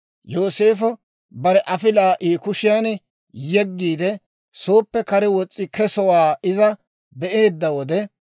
Yooseefo bare afilaa I kushiyaan yeggiide, sooppe kare wos's'i kesowaa iza be'eedda wode,